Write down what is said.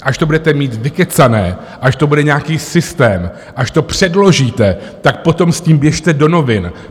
Až to budete mít vykecané, až to bude nějaký systém, až to předložíte, tak potom s tím běžte do novin.